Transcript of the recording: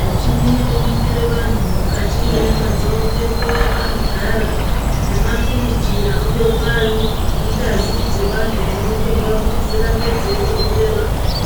Michini inoningire vanhu mukati mwenyama dzavo ngenguva yavanogara. Nemafiriji anobekwa ngazi dzevantu dzinotorwa kuti dzirambe dzeitonhorera.